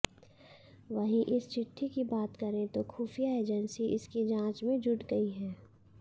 वहीं इस चिट्ठी की बात करें तो खुफिया एजेंसी इसकी जांच में जुट गई हैं